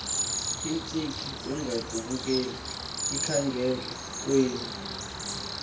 iintshiyi ukungakbululeki enkangelekweni